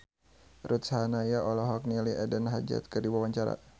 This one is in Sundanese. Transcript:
Ruth Sahanaya olohok ningali Eden Hazard keur diwawancara